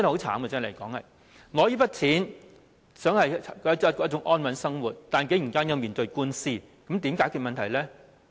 他們只想領取這些錢過安穩的生活，但竟然要面對官司，那如何解決問題呢？